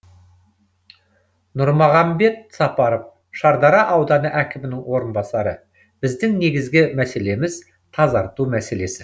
нұрмахамбет сапаров шардара ауданы әкімінің орынбасары біздің негізгі мәселеміз тазарту мәселесі